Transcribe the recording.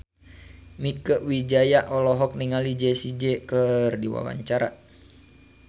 Mieke Wijaya olohok ningali Jessie J keur diwawancara